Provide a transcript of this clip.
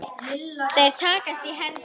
Þeir takast í hendur.